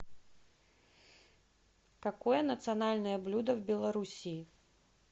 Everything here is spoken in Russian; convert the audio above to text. какое национальное блюдо в белоруссии